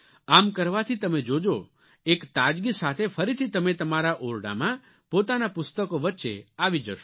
આમ કરવાથી તમે જોજો એક તાજગી સાથે ફરીથી તમે તમારા ઓરડામાં પોતાનાં પુસ્તકો વચ્ચે આવી જશો